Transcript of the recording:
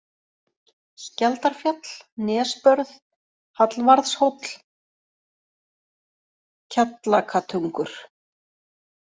Skjaldarfjall, Nesbörð, Hallvarðshóll, Kjallakatungur